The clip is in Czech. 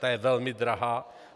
Ta je velmi drahá.